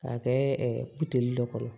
K'a kɛ dɔ kɔnɔ